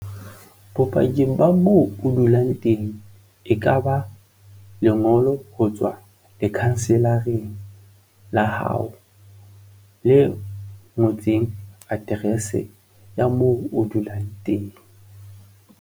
Bopaki ba moo o dulang teng e kaba lengolo ho tswa lekhanselareng la hao le ngotseng aterese ya moo o dulang teng.